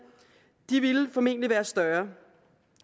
ville formentlig være større